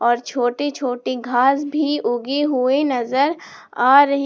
और छोटी छोटी घास भी उगी हुई नजर आ रही--